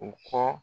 U kɔ